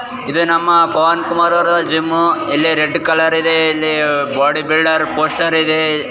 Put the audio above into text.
ಇದು ನಮ್ಮ ಪವನ್ ಕುಮಾರ್ ಅವರ ಜಿಮ್ಮ್ ಇಲ್ಲಿ ರೆಡ್ಡ್ ಕಲರ್ ಇದೆ ಇಲ್ಲಿ ಬೋಡಿ ಬಿಲ್ಡರ್ ಪೋಸ್ಟರ್ ಇದೆ.